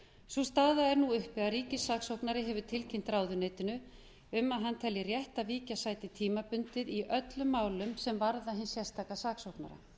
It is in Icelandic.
sú staða er nú uppi að ríkissaksóknari hefur tilkynnt ráðuneytinu um að hann telji rétt að víkja sæti tímabundið í öllum málum sem varða hinn sérstaka saksóknara